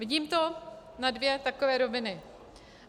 Vidím to na dvě takové roviny.